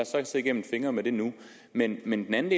så se igennem fingre med det nu men men en anden